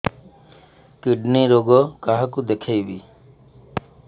kidney ରୋଗ କାହାକୁ ଦେଖେଇବି